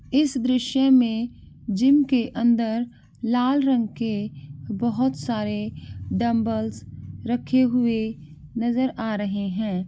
इस दृश्य में जिम के अन्दर लाल रंग के बहुत सारे डमबल्स रखे हुए नज़र आ रहे हैं।